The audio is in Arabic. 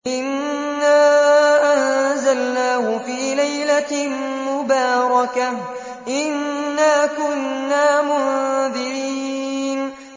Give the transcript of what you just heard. إِنَّا أَنزَلْنَاهُ فِي لَيْلَةٍ مُّبَارَكَةٍ ۚ إِنَّا كُنَّا مُنذِرِينَ